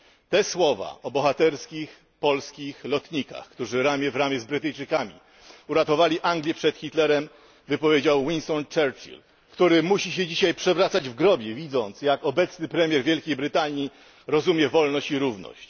Te słowa o bohaterskich polskich lotnikach, którzy ramię w ramię z Brytyjczykami uratowali Anglię przed Hitlerem, wypowiedział Winston Churchill, który musi się dzisiaj przewracać w grobie widząc jak obecny premier Wielkiej Brytanii rozumie wolność i równość.